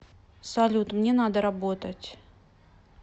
салют мне надо работать